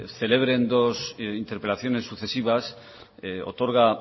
celebren dos interpelaciones sucesivas otorga